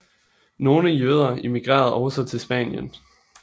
Nogle jøder emigrerede også til Spanien